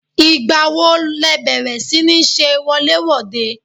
Ìgbà wo le bẹ̀rẹ̀ si ní ṣe wọlé-wòde?